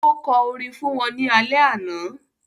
Ó kọ orin fún wọn ní alẹ́ àná.